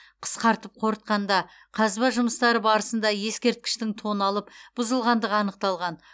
қысқартып қорытқанда қазба жұмыстары барысында ескерткіштің тоналып бұзылғандығы анықталған